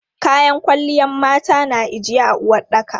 Kayan kwalliyan mata na ijiye a uwaɗɗaka.